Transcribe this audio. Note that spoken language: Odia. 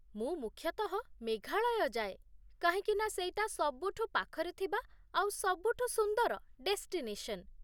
ମୁଁ ମୁଖ୍ୟତଃ ମେଘାଳୟ ଯାଏ, କାହିଁକିନା ସେଇଟା ସବୁଠୁ ପାଖରେ ଥିବା ଆଉ ସବୁଠୁ ସୁନ୍ଦର ଡେଷ୍ଟିନେସନ୍ ।